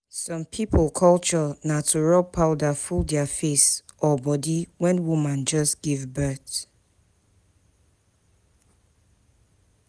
Some pipo culture na to rub powder full their face or body when woman just give birth